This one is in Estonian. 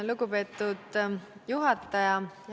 Lugupeetud juhataja!